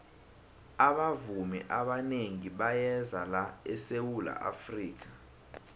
abavumi abanengi bayeza la esawula afrika